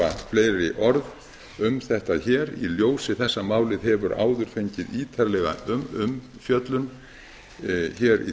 fleiri orð um þetta hér í ljósi þess að málið hefur áður fengið ítarlega umfjöllun hér í